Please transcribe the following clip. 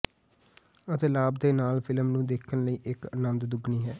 ਅਤੇ ਲਾਭ ਦੇ ਨਾਲ ਫਿਲਮ ਨੂੰ ਦੇਖਣ ਲਈ ਇੱਕ ਅਨੰਦ ਦੁੱਗਣੀ ਹੈ